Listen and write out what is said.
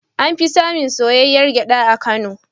An fi samun soyayyar gyaɗa a Kano.